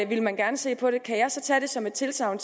ville man gerne se på det kan jeg så tage det som et tilsagn